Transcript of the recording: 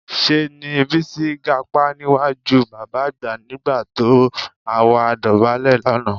Ṣé ni Bísí gapá níwájú bàbá àgbà nígbà tó àwa dọ̀bálẹ̀ lánàá